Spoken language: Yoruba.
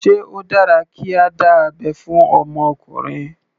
Sé ó dára kí a dá abẹ́ fún ọmọ ọkùnrin.